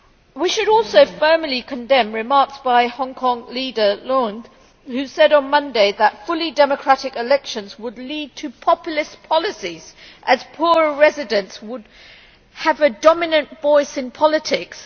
We should also firmly condemn remarks by Hong Kong leader Leung, who said on Monday that fully democratic elections would lead to populist policies, as poorer residents would have a dominant voice in politics.